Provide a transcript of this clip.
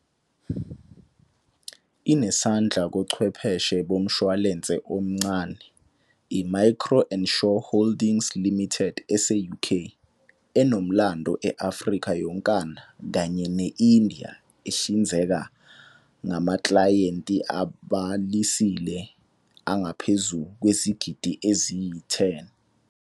Inesandla kochwepheshe bomshwalense omncane, iMicro-Ensure Holdings Limited ese-UK, enomlando e-Afrika yonkana kanye ne-India ehlinzeka ngamaklayenti abhalisile angaphezu kwezigidi eziyi-10.